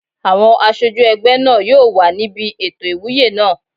Àwọn aṣojú ẹgbẹ́ náà yóò wà níbi ètò ìwúyè náà